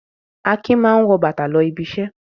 Akin máa ń wọ bàtà lọ ibiṣẹ́.